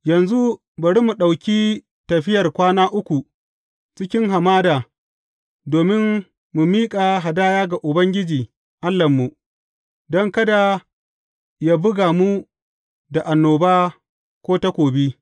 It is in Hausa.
Yanzu bari mu ɗauki tafiyar kwana uku cikin hamada domin mu miƙa hadaya ga Ubangiji Allahnmu, don kada yă buga mu da annoba ko takobi.